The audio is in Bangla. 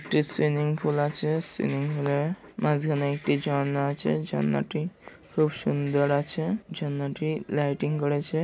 একটি সুইমিং পুল আছে। সুইমিং -এ মাঝখানে একটি ঝর্না আছে। ঝর্নাটি খুব সুন্দর আছে। ঝর্নাটি লাইটিং করেছে।